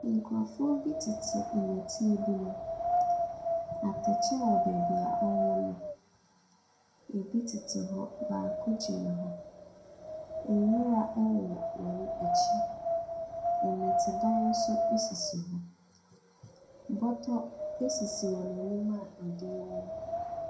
Nkrɔfoɔ bi te nnɛteɛ bi mu. Atɛkyɛ wɔ baabi a wɔwɔ no. Ebi tete hɔ, baako gyina hɔ. Nwura wowɔ wɔn akyi. Nnɔtedan nso sisi hɔ. Bɔtɔ sisi wɔn anim a adeɛ wɔ mu.